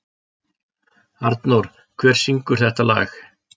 Arnór, hver syngur þetta lag?